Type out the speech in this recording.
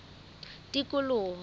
tikoloho